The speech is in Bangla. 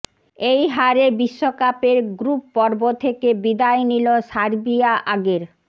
এই হারে বিশ্বকাপের গ্রুপপর্ব থেকে বিদায় নিল সার্বিয়া আগের